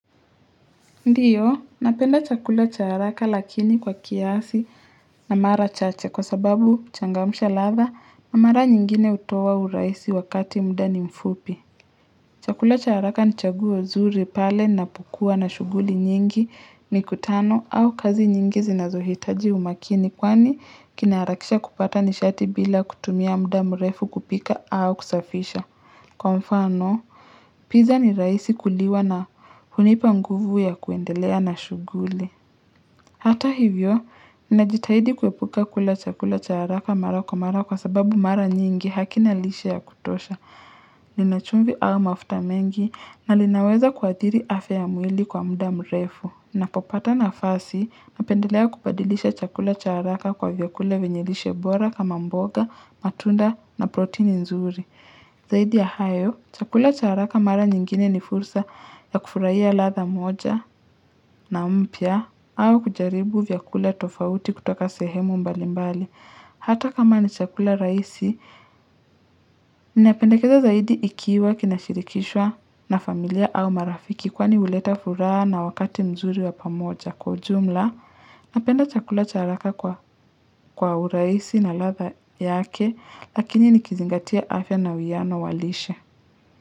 Ndiyo, napenda chakula cha haraka lakini kwa kiasi na mara chache kwa sababu changamsha ladha na mara nyingine hutoa uraihisi wakati muda ni mfupi. Chakula cha haraka ni chaguo zuri pale napokua na shughuli nyingi mikutano au kazi nyingi zinazohitaji umakini kwani kinaharakisha kupata nishati bila kutumia muda mrefu kupika au kusafisha. Kwa mfano, pizza ni rahisi kuliwa na hunipa nguvu ya kuendelea na shughuli. Hata hivyo, ninajitahidi kuepuka kula chakula cha haraka mara kwa mara kwa sababu mara nyingi hakina lishe ya kutosha. Lina chumbi au mafuta mengi na linaweza kuadhiri afya ya mwili kwa muda mrefu. Napopata nafasi napendelea kubadilisha chakula cha haraka kwa vyakula vyenye lishe bora kama mboga, matunda na protini nzuri. Zaidi ya hayo, chakula cha haraka mara nyingine ni fursa ya kufurahia ladha moja na mpya au kujaribu vyakula tofauti kutoka sehemu mbali mbali. Hata kama ni chakula rahisi, inapendekeza zaidi ikiwa kinashirikishwa na familia au marafiki kwani huleta furaha na wakati mzuri wa pamoja. Kwa ujumla, napenda chakula cha haraka kwa, kwa urahisi na ladha yake lakini nikizingatia afya na uwiano wa lishe.